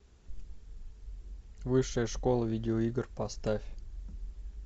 высшая школа видеоигр поставь